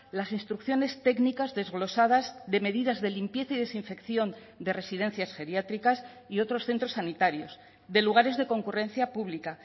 las instrucciones técnicas desglosadas de medidas de limpieza y desinfección de residencias geriátricas y otros centros sanitarios de lugares de concurrencia pública